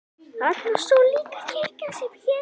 Þarna stóð líka kirkja sem hét